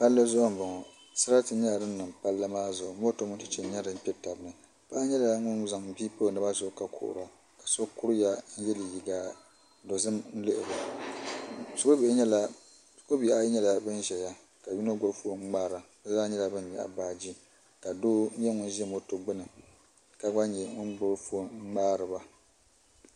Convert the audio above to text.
Palli zuɣu n bɔŋɔ sarati yɛla din niŋ palli maa zuɣu moto mini chɛchɛ n yɛ din kpɛ taba ni paɣi yɛla ŋun zaŋ bii pa o naba zuɣu ka kuhira ka so kueiya n yiɛ liiga dozim n lihiri o shikuru bihi ayi yɛla ban ziya ka yino gbibi foon n ŋmara bi zaa yɛla ban yɛɣi baaji ka doo nyɛ ŋun zi moto gbuni ka gba yɛ ŋun gbibi foon n ŋmari ba .